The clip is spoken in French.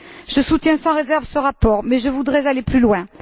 Je soutiens sans réserve ce rapport, mais je voudrais aller plus loin.